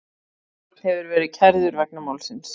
Einn hefur verið kærður vegna málsins